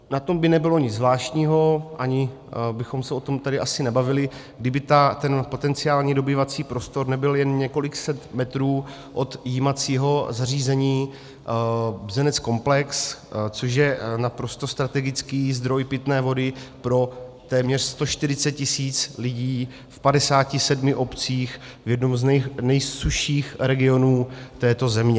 Na tom by nebylo nic zvláštního, ani bychom se o tam tady asi nebavili, kdyby ten potenciální dobývací prostor nebyl jen několik set metrů od jímacího zařízení Bzenec-komplex, což je naprosto strategický zdroj pitné vody pro téměř 140 tisíc lidí v 57 obcích v jednom z nejsušších regionů této země.